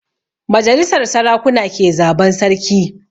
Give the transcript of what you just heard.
Majalisar sarakuna ke zaban sarki